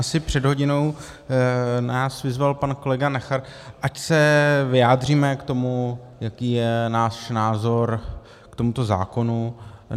Asi před hodinou nás vyzval pan kolega Nacher, ať se vyjádříme k tomu, jaký je náš názor k tomuto zákonu.